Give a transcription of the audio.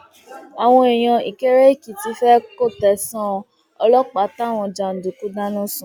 àwọn èèyàn ìkéréèkìtì fẹẹ kò tẹsán ọlọpàá táwọn jàǹdùkú dáná sun